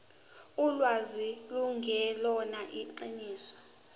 ulwazi lungelona iqiniso